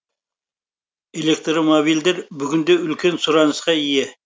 электромобильдер бүгінде үлкен сұранысқа ие